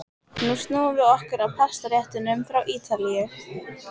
Nú snúum við okkur að pastaréttunum frá Ítalíu.